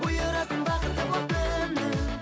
бұйырасың бақыты боп кімнің